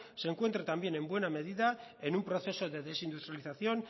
se encuentre también en buena medida en un proceso de desindustrialización